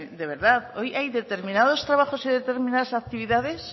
de verdad hoy hay determinados trabajos y determinadas actividades